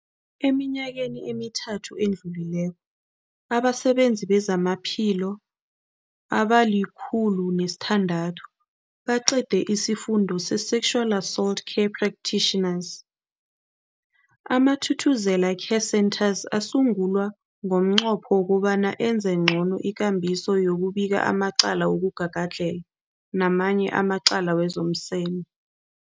Eminyakeni emithathu edluleko, abasebenzi bezamaphilo abali-106 baqede isiFundo se-Sexual Assault Care Practitioners. AmaThuthuzela Care Centres asungulwa ngomnqopho wokobana enze ngcono ikambiso yokubika amacala wokugagadlhela namanye amacala wezomseme.